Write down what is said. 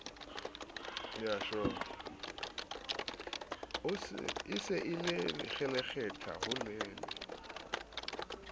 e se e kgelekgetha holele